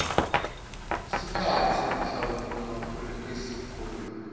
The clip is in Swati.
sikhatsi uyanhlanhlatsa aphumeesihlokweni